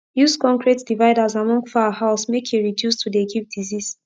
use concrete dividers among fowl house make e reduce to de give disease